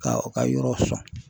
Ka u ka yɔrɔ sɔn.